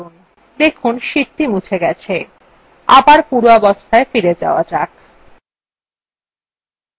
দেখুন sheetthe মুছে গেছে আবার পূর্বাবস্থায় ফিরে যাওয়া যাক